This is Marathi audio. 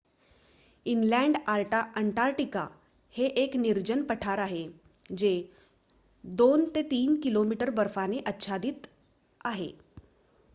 इनलँड अंटार्क्टिका हे एक निर्जन पठार आहे जे 2-3 km बर्फाने आच्छादित आहे